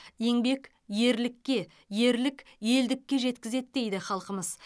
еңбек ерлікке ерлік елдікке жеткізеді дейді халқымыз